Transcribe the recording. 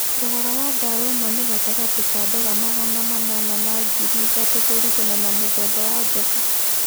Thogora wa ndawa ĩmwe nĩ gatagatĩ ka ndora magana manana na ngirĩ ithatũ kũringana na mũthemba wa njoka.